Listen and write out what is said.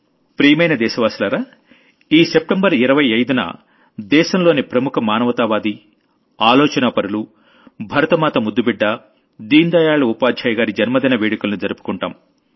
ప్రియమైన దేశవాసులారా ఈ సెప్టెంబర్ 25కి దేశంలోని ప్రముఖ మానవతావాదులు ఆలోచనాపరులు భరతమాత ముద్దుబిడ్డ దీన్ దయాళ్ ఉపాధ్యాయ్ గారి జన్మదిన వేడుకల్ని జరుపుకుంటాం